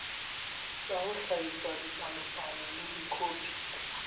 le ho hlahisa dipalopalo dikhopi